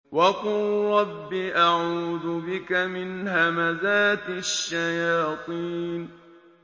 وَقُل رَّبِّ أَعُوذُ بِكَ مِنْ هَمَزَاتِ الشَّيَاطِينِ